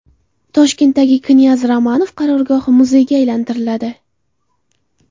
Toshkentdagi knyaz Romanov qarorgohi muzeyga aylantiriladi.